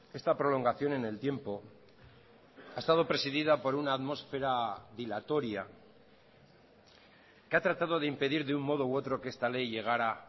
esta prolongación en el tiempo ha estado presidida por una atmósfera dilatoria que ha tratado de impedir de un modo u otro que esta ley llegara